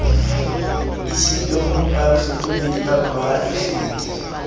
isitsweng ho bafetoledi ba poraefete